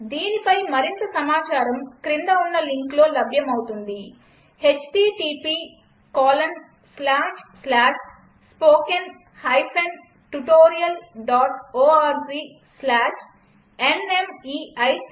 దీనిపై మరింత సమాచారం క్రింద ఉన్న లింక్లో లభ్యమవుతుంది httpspoken tutorialorgNMEICT Intro